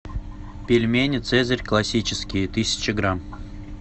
пельмени цезарь классические тысяча грамм